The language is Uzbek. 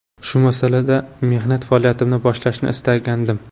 Shu muassasada mehnat faoliyatimni boshlashni istagandim.